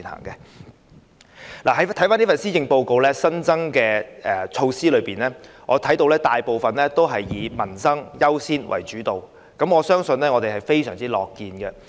在施政報告提出的新措施中，我看見大部分均以民生優先為主導，我們對此十分歡迎。